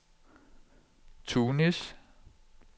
Tunis